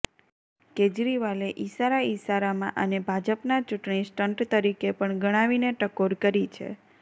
કેજરીવાલે ઇશારા ઇશારામાં આને ભાજપના ચૂંટણી સ્ટંટ તરીકે પણ ગણાવીને ટકોર કરી છે